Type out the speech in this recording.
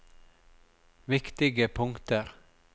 viktige punkter